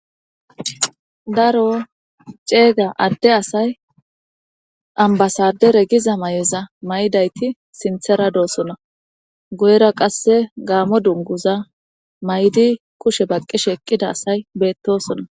Daro ceeyga adde asay ambasadere giza may'oza may'dayti sinthara doosona goyra qasse gaamo dunguza may'di kushe baqqishe eqqida asay beettosona.